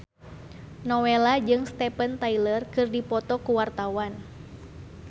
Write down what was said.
Nowela jeung Steven Tyler keur dipoto ku wartawan